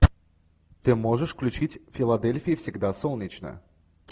ты можешь включить в филадельфии всегда солнечно